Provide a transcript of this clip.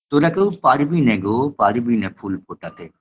তোরা কেউ পারবিনে গো পারবিনা ফুল ফোটাতে